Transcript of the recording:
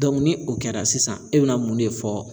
ni o kɛra sisan e bɛna mun de fɔ